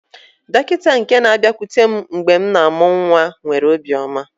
Dọkịta nke na-abịakwute m mgbe m na-amụ nwa nwere obiọma.